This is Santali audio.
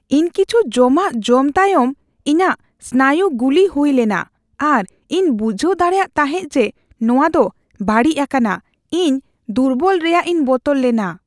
ᱤᱧ ᱠᱤᱪᱷᱩ ᱡᱚᱢᱟᱜ ᱡᱚᱢ ᱛᱟᱭᱚᱢ ᱤᱧᱟᱹᱜ ᱥᱱᱟᱭᱩ ᱜᱩᱞᱤ ᱦᱩᱭ ᱞᱮᱱᱟ ᱟᱨ ᱤᱧ ᱵᱩᱡᱷᱟᱹᱣ ᱫᱟᱲᱮᱭᱟᱜ ᱛᱟᱦᱮᱸ ᱡᱮ ᱱᱚᱶᱟ ᱫᱚ ᱵᱟᱹᱲᱤᱡ ᱟᱠᱟᱱᱟ ᱾ᱤᱧ ᱫᱩᱨᱵᱚᱞᱚᱜ ᱨᱮᱭᱟᱜ ᱤᱧ ᱵᱚᱛᱚᱨ ᱞᱮᱱᱟ ᱾